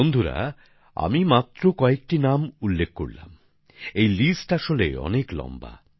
বন্ধুরা আমি মাত্র কয়েকটা নাম বললাম এই লিস্ট আসলে অনেক লম্বা